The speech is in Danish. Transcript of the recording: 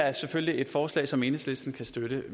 er selvfølgelig et forslag som enhedslisten kan støtte